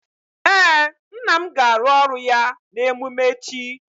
Ee, nna m ga-arụ ọrụ ya na emume echi